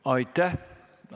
Aitäh!